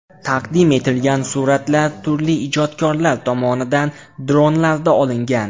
Taqdim etilgan suratlar turli ijodkorlar tomonidan dronlarda olingan.